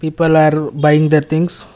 people are buying the things.